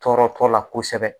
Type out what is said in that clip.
Tɔɔrɔ t'o la kosɛbɛ